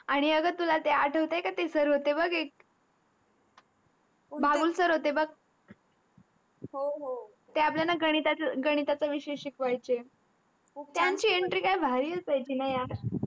आनी अग तुला आठवत का ते सर होते बघ ते एक बाबुल सर होते बघ हो हो त्ते आपल्याला गणितच विषय शिकवायचे त्याची entry काय भारी असायचं न यार.